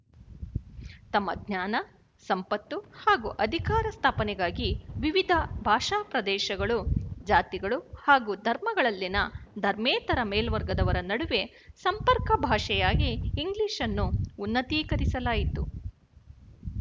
ತಮ್ಮ ಜ್ಞಾನ ಸಂಪತ್ತು ಹಾಗೂ ಅಧಿಕಾರ ಸ್ಥಾಪನೆಗಾಗಿ ವಿವಿಧ ಭಾಷಾಪ್ರದೇಶಗಳು ಜಾತಿಗಳು ಹಾಗೂ ಧರ್ಮಗಳಲ್ಲಿನ ಧರ್ಮೇತರ ಮೇಲ್ವರ್ಗದವರ ನಡುವೆ ಸಂಪರ್ಕ ಭಾಷೆಯಾಗಿ ಇಂಗ್ಲಿಶ್‌ ಅನ್ನು ಉನ್ನತೀಕರಿಸಲಾಯಿತು